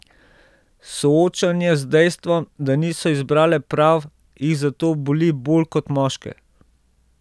Soočanje z dejstvom, da niso izbrale prav, jih zato boli bolj kot moške.